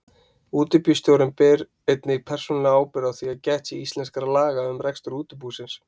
Útibússtjóri ber einnig persónulega ábyrgð á því að gætt sé íslenskra laga um rekstur útibúsins.